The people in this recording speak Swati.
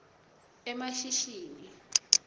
emashishini